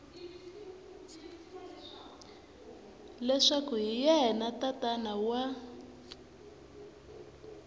leswaku hi yena tatana wa